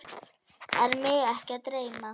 Er mig ekki að dreyma?